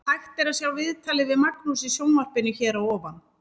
Hægt er að sjá viðtalið við Magnús í sjónvarpinu hér að ofan.